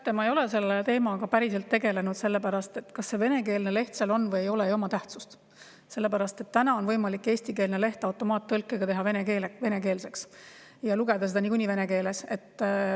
Teate, ma ei ole selle teemaga päriselt tegelenud, sellepärast et kas see venekeelne leht seal on või ei ole, ei oma tähtsust, sest täna on võimalik eestikeelne leht automaattõlkega teha venekeelseks ja lugeda seda niikuinii vene keeles.